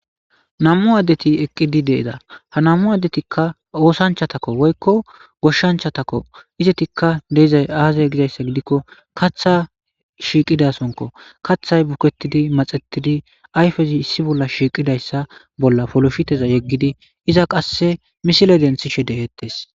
namu addeti eqqidi deeda ha namu addetikka oosanchatakko woykko goshshanchatako izetikka deizay aazay gizayssa gidikko katha shiiqidasonko kaththay buketidi maxetidi ayfezi issi bolla shiiqidayssa bolla folofhiteza yeggidi iza qasse misile denthishe dehettes